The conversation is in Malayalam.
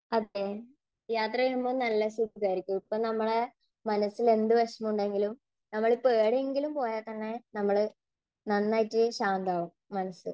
അതേ. യാത്ര ചെയ്യുമ്പോൾ നല്ല സുഖം ആയിരിക്കും. അപ്പോൾ നമ്മുടെ മനസ്സിൽ എന്ത് വിഷമം ഉണ്ടെങ്കിലും നമ്മൾ ഇപ്പോ എവിടെയെങ്കിലും പോയാൽ തന്നെ നമ്മള്, നന്നായിട്ട് ശാന്തമാകും മനസ്സ്.